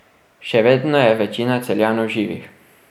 Še vedno je večina Celjanov živih.